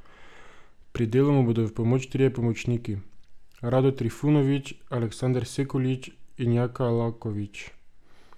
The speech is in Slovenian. Pri delu mu bodo v pomoč trije pomočniki, Rado Trifunovič, Aleksander Sekulič in Jaka Lakovič.